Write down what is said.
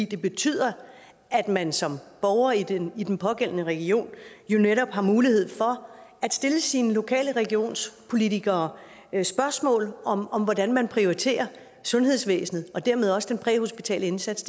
det betyder at man som borger i den i den pågældende region jo netop har mulighed for at stille sine lokale regionspolitikere spørgsmål om om hvordan man prioriterer sundhedsvæsenet og dermed også den præhospitale indsats